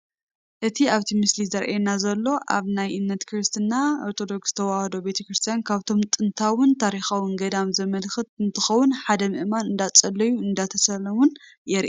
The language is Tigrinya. እቲ ኣብቲ ምስሊ ዝራኣየና ዘሎ ኣብ ናይ እምነት ክርስትና ኦርዶክስ ተዋህዶ ቤተክርስትያን ካብቶም ጥንታውን ታሪኻውን ገዳም ዘመልክት እንትኸውን ሓደ ምእመን እንዳፀለዩን እንዳተሳለሙን የርኢ፡፡